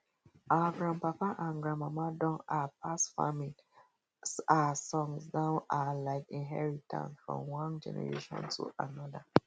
our grandpapa and grandmama don um pass farming um songs down um like inherintance from one generation to another